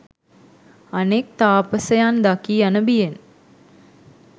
අනෙක් තාපසයන් දකී යන බියෙන්